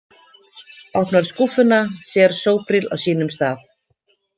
Opnar skúffuna, sér Sobril á sínum stað.